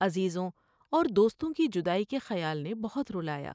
عزیزوں اور دوستوں کی جدائی کے خیال نے بہت رلا یا ۔